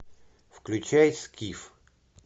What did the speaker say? включай скиф